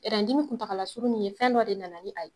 Ɛrɛn dimi kuntagala surun min ye fɛn dɔ de nana ni a ye